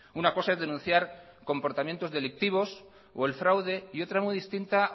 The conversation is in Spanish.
una cosa es denunciar comportamientos delictivos o el fraude y otra muy distinta